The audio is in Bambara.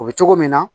O bɛ cogo min na